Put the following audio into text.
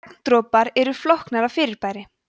regndropar eru flóknara fyrirbæri